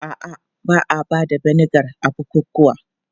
A'a, ba a ba da vinegar a bukukuwa.